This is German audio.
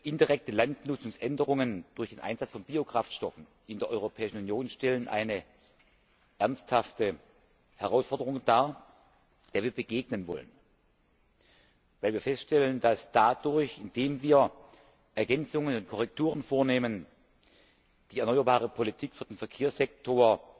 Indirekte Landnutzungsänderungen durch den Einsatz von Biokraftstoffen in der Europäischen Union stellen eine ernsthafte Herausforderung dar, der wir begegnen wollen, weil wir feststellen, dass dadurch, dass wir Ergänzungen und Korrekturen vornehmen, die Erneuerbare Politik für den Verkehrssektor